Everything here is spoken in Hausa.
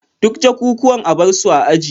Duk jakukuwan a bar su a aji